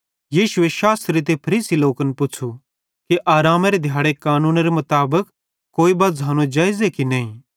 यीशुए शास्त्री ते फरीसी लोकन पुच़्छ़ू कि आरामेरे दिहाड़े कानूनेरे मुताबिक कोई बज्झ़ानो जेइज़े की नईं